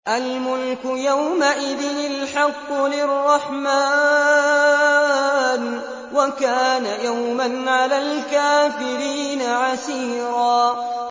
الْمُلْكُ يَوْمَئِذٍ الْحَقُّ لِلرَّحْمَٰنِ ۚ وَكَانَ يَوْمًا عَلَى الْكَافِرِينَ عَسِيرًا